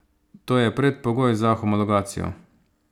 To je predpogoj za homologacijo.